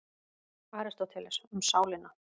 Aristóteles, Um sálina.